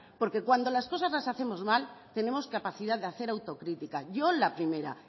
porque cuando las cosas las hacemos mal tenemos capacidad de hacer autocrítica yo la primera